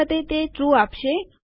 આ વખતે તે ટ્રૂ આપશે